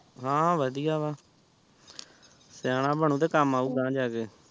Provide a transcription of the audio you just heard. ਹਾਂ ਵਧੀਆ ਵਾ ਸਿਆਣਾ ਬਿਨੁ ਤਾ ਕਾਮ ਆਉ ਗਾਂਹ ਜਾ ਕੇ